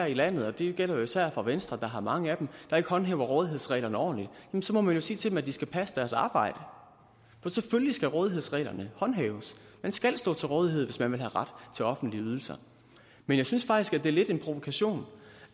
i landet og det gælder især for venstre der har mange af dem der ikke håndhæver rådighedsreglerne ordentligt så må man jo sige til dem at de skal passe deres arbejde for selvfølgelig skal rådighedsreglerne håndhæves man skal stå til rådighed hvis man vil have ret til offentlige ydelser men jeg synes faktisk at det er lidt en provokation